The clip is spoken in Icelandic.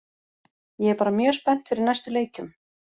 Ég er bara mjög spennt fyrir næstu leikjum.